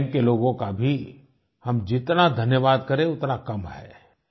उन बैंक के लोगों का भी हम जितना धन्यवाद करें उतना कम है